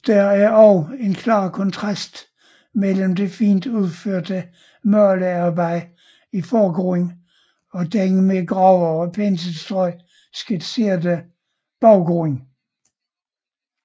Der er også en klar kontrast mellem det fint udførte malearbejde i forgrunden og den med grove penselstrøg skitserede baggrund